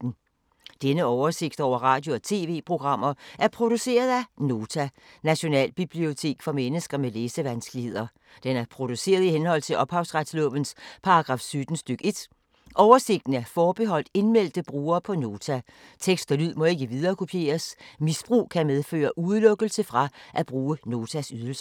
Denne oversigt over radio og TV-programmer er produceret af Nota, Nationalbibliotek for mennesker med læsevanskeligheder. Den er produceret i henhold til ophavsretslovens paragraf 17 stk. 1. Oversigten er forbeholdt indmeldte brugere på Nota. Tekst og lyd må ikke viderekopieres. Misbrug kan medføre udelukkelse fra at bruge Notas ydelser.